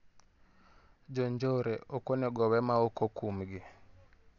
Jonjore ok onego owe maok okumgi.